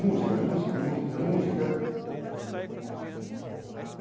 Música, música, música, música.